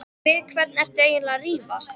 Við hvern ertu eiginlega að rífast?